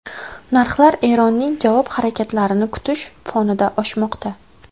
Narxlar Eronning javob harakatlarini kutish fonida oshmoqda.